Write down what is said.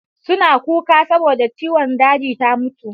Suna kuka saboda ciwon daji ta mutu.